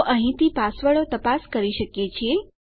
તો અહીંથી પાસવર્ડો તપાસ કરી શકીએ છીએ